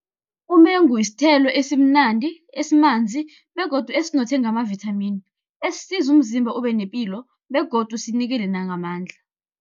Umengu sithelo esimnandi, esimanzi, begodu esinothe ngamavithamini, esisiza umzimba ube nepilo, begodu sinikele nangamandla.